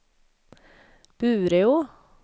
Bureå